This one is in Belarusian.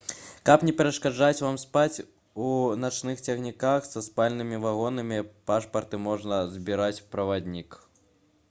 каб не перашкаджаць вам спаць у начных цягніках са спальнымі вагонамі пашпарты можа збіраць праваднік